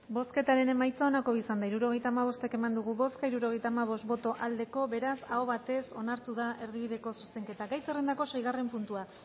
bozketaren emaitza onako izan da hirurogeita hamabost eman dugu bozka hirurogeita hamabost boto aldekoa beraz aho batez onartu da erdibideko zuzenketa gai zerendako seigarren puntua